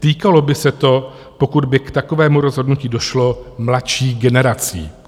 Týkalo by se to, pokud by k takovému rozhodnutí došlo, mladších generací."